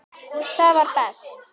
Það var best.